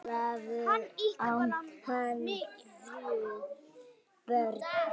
Ólafur, á hann þrjú börn.